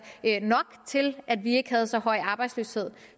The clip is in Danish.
nok til at vi ikke havde så høj en arbejdsløshed